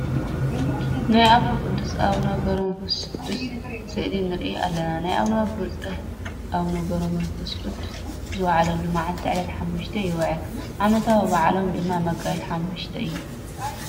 ናይ ኣቦና ቁዱስ ኣቡነ ገብረመንፈስቁድ ስእሊ ንርኢ ኣለና። ናይ ኣቦና ቡፁእ ኣቡነ ገብረመንፈስቁድ ዝውዕለሉ መዓልቲ ዕለት ሓሙሽተ ይውዕል። ዓመታዊ በዓሎም ድማ መጋቢት ሓሙሽተ እዩ።